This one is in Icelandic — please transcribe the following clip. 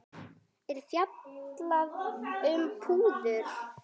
er fjallað um púður.